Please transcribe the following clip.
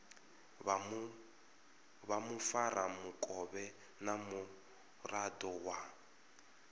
vha mufaramukovhe na muraḓo wa